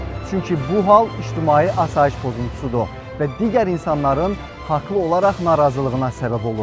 Çünki bu hal ictimai asayiş pozuntusudur və digər insanların haqlı olaraq narazılığına səbəb olur.